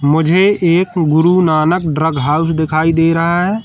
मुझे एक Guru Nanak drug house दिखाई दे रहा है।